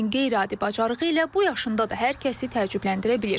Lakin qeyri-adi bacarığı ilə bu yaşında da hər kəsi təəccübləndirə bilir.